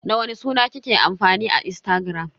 Da wani suna kike amfani a Instagram?